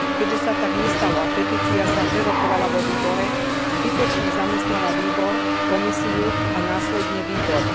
Keďže sa tak nestalo a petícia sa prerokovala vo výbore, zbytočne zamestnala výbor, Komisiu a následne výbor.